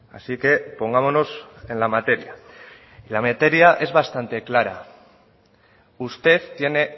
así que pongámonos en la materia la materia es bastante clara usted tiene